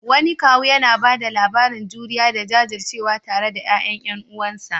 Wani kawu yana ba da labarin juriya da jajircewa tare da ƴaƴan ƴan uwansa.